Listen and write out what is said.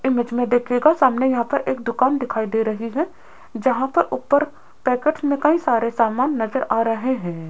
Image में देखिएगा सामने यहां पर एक दुकान दिखाई दे रही है जहां पर ऊपर पैकेट्स में कई सारे सामान नजर आ रहे हैं।